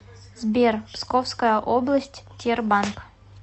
сбер псковская область тербанк